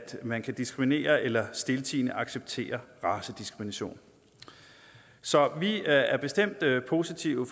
man kan diskriminere eller stiltiende acceptere racediskrimination så vi er er bestemt positive